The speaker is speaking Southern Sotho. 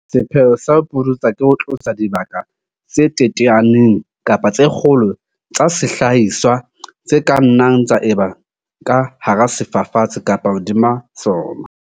Sepheo sa ho pudutsa ke ho tlosa dibaka tse teteaneng kapa tse kgolo tsa sehlahiswa, tse ka nnang tsa eba ka hara sefafatsi kapa hodima sona.